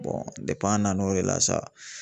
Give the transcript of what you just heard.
an nan'o de la sa